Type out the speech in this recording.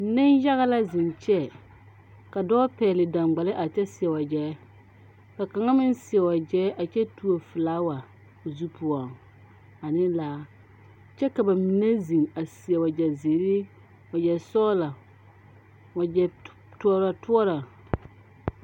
Neŋyaga la zeŋ kyɛ ka dɔɔ pɛgle saŋgbale a kyɛ seɛ wagyɛ ka kaŋa meŋ seɛ wagyɛ a kyɛ tuo flaawa o zu poɔŋ ane laa kyɛ ka ba mine zeŋ a seɛ ba wagyɛ zeere wagyɛ sɔglɔ wagyɛ tɔɔrɔ tɔɔrɔ.